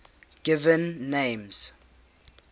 given names